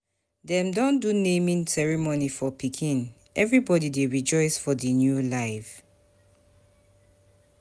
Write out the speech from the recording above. Dem don do naming ceremony for pikin, everybody dey rejoice for the new life.